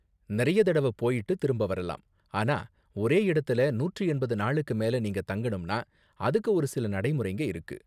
நிறைய தடவ போய்ட்டு திரும்ப வரலாம், ஆனா ஒரே இடத்துல நூற்று எண்பது நாளுக்கு மேலே நீங்க தங்கணும்னா அதுக்கு ஒரு சில நடைமுறைங்க இருக்கு.